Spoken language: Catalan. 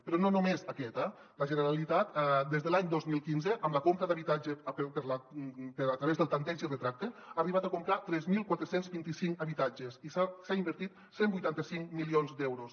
però no només aquest eh la generalitat des de l’any dos mil quinze amb la compra d’habitatge a través del tanteig i retracte ha arribat a comprar tres mil quatre cents i vint cinc habitatges i s’hi ha invertit cent i vuitanta cinc milions d’euros